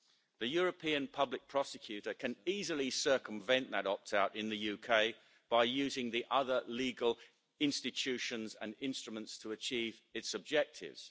The European Public Prosecutor can easily circumvent that opt-out in the UK by using the other legal institutions and instruments to achieve its objectives.